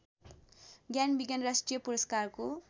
ज्ञानविज्ञान राष्ट्रिय पुरस्कारको